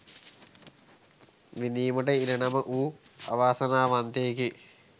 විඳවීම ඉරණම වූ අවාසනාවන්තයෙකි.